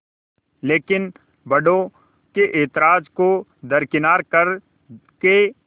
लेकिन बड़ों के ऐतराज़ को दरकिनार कर के